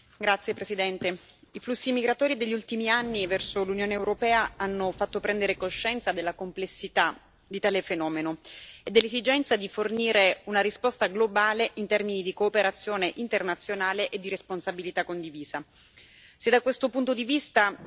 Signor Presidente, onorevoli colleghi, i flussi migratori degli ultimi anni verso l'Unione europea hanno fatto prendere coscienza della complessità di tale fenomeno e dell'esigenza di fornire una risposta globale in termini di cooperazione internazionale e di responsabilità condivisa.